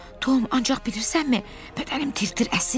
Tom, ancaq bilirsənmi, bədənim tir-tir əsir.